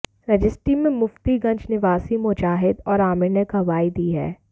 registry में मुफ्तीगंज निवासी मुजाहिद और आमिर ने गवाही दी है